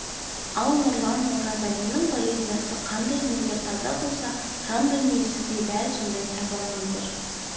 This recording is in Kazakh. ал нұрлан оразалиннің поэзиясы қандай мөлдір таза болса жан дүниесі де дәл сондай таза мөлдір